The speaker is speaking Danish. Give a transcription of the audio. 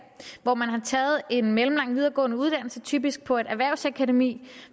hvor man har taget en mellemlang videregående uddannelse typisk på et erhvervsakademi